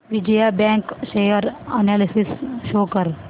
Vijaya bank share analysis show कर